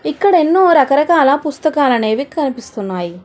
ఇక్కడ ఎన్నో రకరకాల పుస్తకాలనేవి కనిపిస్తున్నాయి.